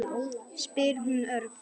spyr hún örg.